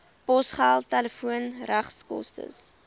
posgeld telefoon regskoste